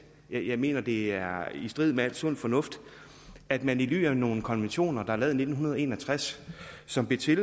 jeg mener at det er i strid med al sund fornuft at man i ly af nogle konventioner der er lavet i nitten en og tres og som blev til